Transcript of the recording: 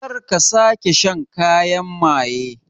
Kar ka sake shan kayan maye